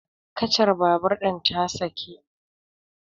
kacar babur ɗin ta saki